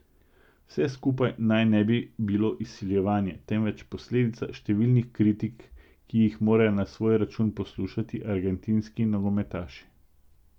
Vse skupaj naj ne bi bilo izsiljevanje, temveč posledica številnih kritik, ki jih morajo na svoj račun poslušati argentinski nogometaši.